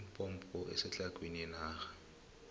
ilimpompo isetlhagwini yenarha